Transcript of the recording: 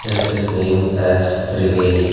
it is named as triveni.